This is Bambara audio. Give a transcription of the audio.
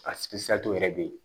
A yɛrɛ bɛ ye